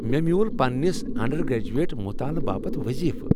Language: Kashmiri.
مےٚ میول پننس انڈرگریجویٹ مطالع باپت وظیفہٕ ۔